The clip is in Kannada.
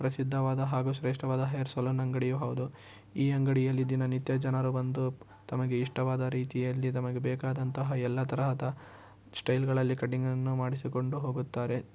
ಪ್ರಸಿದ್ಧವಾದ ಹಾಗು ಶ್ರೇಷ್ಟವಾದ ಹೇರ್ ಸಲೂನ್ ಅಂಗಡಿಯು ಹೌದು. ಈ ಅಂಗಡಿಯಲ್ಲಿ ದಿನನಿತ್ಯ ಜನರು ಬಂದು ತಮಗೆ ಇಷ್ಟವಾದ ರೀತಿಯಲ್ಲಿ ತಮಗೆ ಬೇಕಾದಂತಹ ಎಲ್ಲ ತರಹದ ಸ್ಟೈಲ್ ಗಳಲ್ಲಿ ಕಟಿಂಗ್ ಅನ್ನು ಮಾಡಿಸಿಕೊಂಡು ಹೋಗುತ್ತಾರೆ.